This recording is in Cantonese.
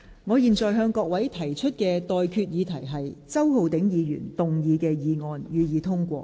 我現在向各位提出的待決議題是：周浩鼎議員動議的議案，予以通過。